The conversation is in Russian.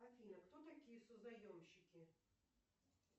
афина кто такие созаемщики